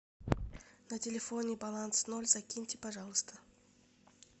на телефоне баланс ноль закиньте пожалуйста